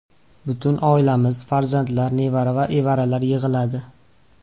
Butun oilamiz, farzandlar, nevara va evaralar yig‘iladi.